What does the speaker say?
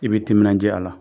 I bɛ timinadiya a la.